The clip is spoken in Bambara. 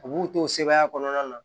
U b'u to sebaaya kɔnɔna na